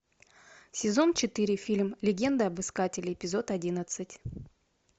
сезон четыре фильм легенда об искателе эпизод одиннадцать